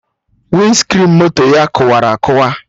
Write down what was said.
Winscrin moto ya kụwara akụwa